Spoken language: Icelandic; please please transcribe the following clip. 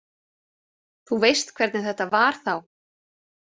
Þú veist hvernig þetta var þá.